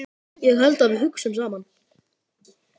Ég held að við hugsum saman.